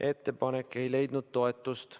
Ettepanek ei leidnud toetust.